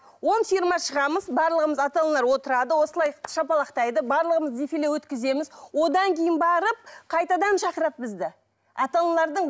он фирма шығамыз барлығымыз ата аналар отырады осылай шапалақтайды барлығымыз дефиле өткіземіз одан кейін барып қайтадан шақырады бізді ата аналардың